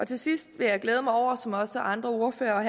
til sidst vil jeg glæde mig over som også andre ordførere har